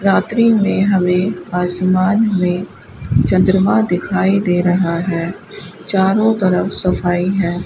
रात्रि में हमें आसमान में चंद्रमा दिखाई दे रहा है चारों तरफ सफाई है।